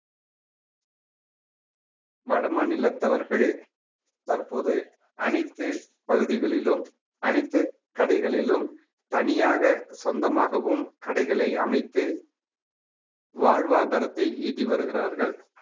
வட மாநிலத்தவர்கள் தற்போது அனைத்து பகுதிகளிலும் அனைத்து கடைகளிலும் தனியாக சொந்தமாகவும் கடைகளை அமைத்து வாழ்வாதாரத்தை ஈட்டி வருகிறார்கள்